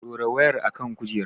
Dora wayar a kan kujerar!